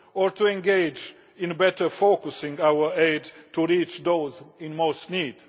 or we engage in better focusing our aid to reach those in most need.